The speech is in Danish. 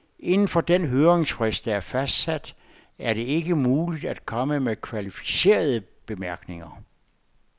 Inden for den høringsfrist, der er fastsat, er det ikke muligt at komme med kvalificerede bemærkninger.